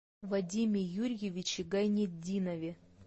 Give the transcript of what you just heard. вадиме юрьевиче гайнетдинове